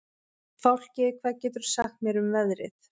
Fálki, hvað geturðu sagt mér um veðrið?